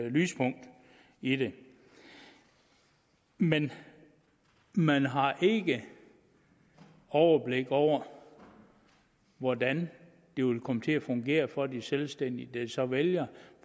et lyspunkt i det men man har ikke overblik over hvordan det vil komme til at fungere for de selvstændige der så vælger